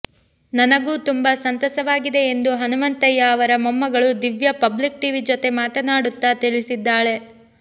ನನಗೂ ತುಂಬಾ ಸಂತಸವಾಗಿದೆ ಎಂದು ಹನಮಂತಯ್ಯ ಅವರ ಮೊಮ್ಮಗಳು ದಿವ್ಯಾ ಪಬ್ಲಿಕ್ ಟಿವಿ ಜೊತೆ ಮಾತನಾಡುತ್ತಾ ತಿಳಿಸಿದ್ದಾಳೆ